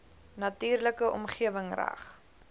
natuurlike omgewing reg